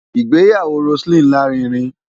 Ìgbéyàwó Roseline lárinrin.